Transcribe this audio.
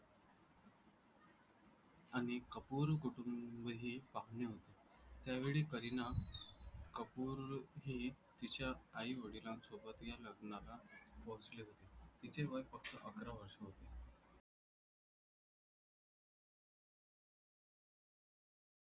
आणि कपूर कुटुंबही पाहुणे होते. त्यावेळी करीना कपूर ही तिच्या आई वडिलांसोबत या लग्नाला पोहोचली होती. तिचे वय फक्त